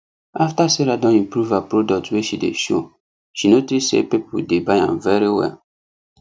after sarah don improve her products wey she dey show she notice say people dey buy am very well